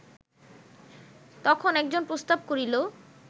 তখন একজন প্রস্তাব করিল